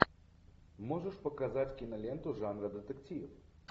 можешь показать киноленту жанра детектив